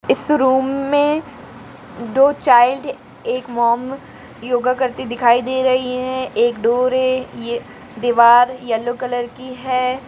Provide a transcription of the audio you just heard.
इस रूम में दो चाइल्ड एक मॅम योगा करते हुए दिखाई दे रही है एक डोर है। ये दीवार येलो कलर क--